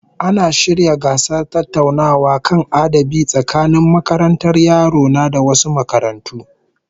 Ana shirya gasar tattaunawa kan adabi tsakanin makarantar yaro na da wasu makarantu